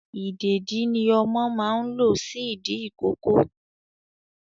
Ìdèdí ni ọmọ máa ń lo sí ìdí ìkókó